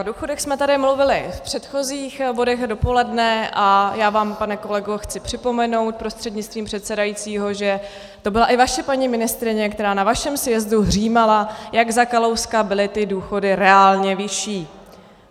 O důchodech jsme tady mluvili v předchozích bodech dopoledne a já vám, pane kolego, chci připomenout prostřednictvím předsedajícího, že to byla i vaše paní ministryně, která na vašem sjezdu hřímala, jak za Kalouska byly ty důchody reálně vyšší.